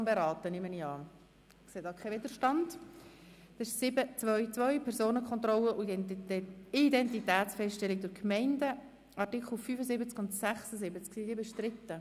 Es geht um das Kapitel 7.2.2 Personenkontrolle und Identitätsfeststellung durch die Gemeinden.